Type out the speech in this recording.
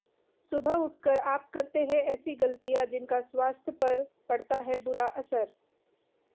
सुबह उठकर आप करते हैं ऐसी गलतियां जिनका स्वास्थ्य पर पड़ता है बुरा असर